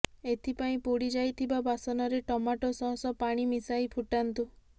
ଏଥିପାଇଁ ପୋଡ଼ି ଯାଇଥିବା ବାସନରେ ଟମାଟୋ ସସ୍ ଓ ପାଣି ମିଶାଇ ଫୁଟାନ୍ତୁ